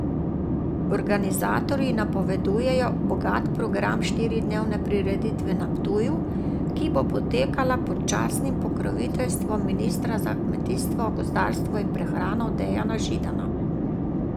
Organizatorji napovedujejo bogat program štiridnevne prireditve na Ptuju, ki bo potekala pod častnim pokroviteljstvom ministra za kmetijstvo gozdarstvo in prehrano Dejana Židana.